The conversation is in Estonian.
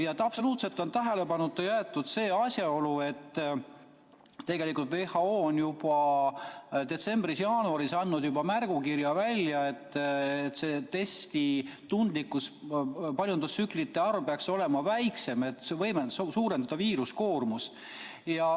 Ja absoluutselt on tähelepanuta jäetud see asjaolu, et WHO on juba detsembris-jaanuaris andnud välja märgukirja, et see testi tundlikkus, paljundustsüklite arv peaks olema väiksem, et see võimaldab suurendada viiruskoormust.